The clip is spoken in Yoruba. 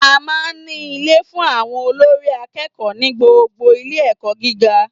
A máa n ní Ilé fun àwon olórí akéèkó ní gbogbo Ilé èkó gíga